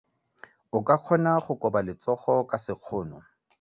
O ka kgona go koba letsogo ka sekgono.